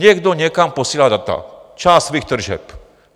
Někdo někam posílá data, část svých tržeb.